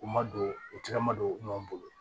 U ma don u tɛgɛ ma don u ɲɔ bolo